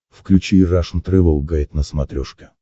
включи рашн тревел гайд на смотрешке